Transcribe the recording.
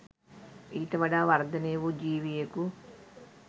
ඊට වඩා වර්ධනය වූ ජීවියකු